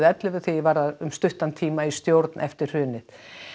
ellefu þegar ég var um stuttan tíma í stjórn eftir hrunið